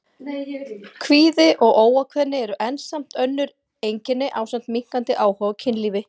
Kvíði og óákveðni eru enn önnur einkenni ásamt minnkandi áhuga á kynlífi.